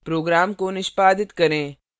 program को निष्पादित करें